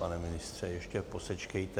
Pane ministře, ještě posečkejte.